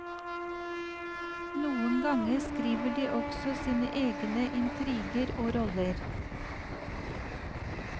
Noen ganger skriver de også sine egne intriger og roller.